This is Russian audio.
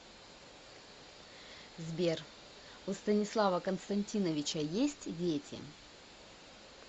сбер у станислава константиновича есть дети